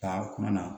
Ka kuma na